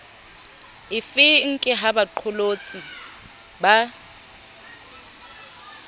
efeng ke ha baqolotsi ba